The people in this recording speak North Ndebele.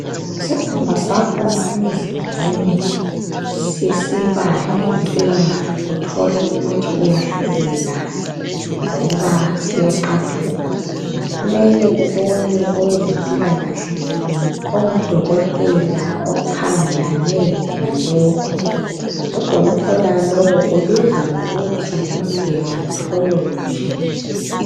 Isikhunba sakho emzimbeni sisiba lenkinga uthole ukuthi uyahlubeka lova siyaxathuka kumele ubone owezempilakahle ongudokotela okhangelane lalokho. Udokotela lowo ubizwa ngokuthi ngu dermatology.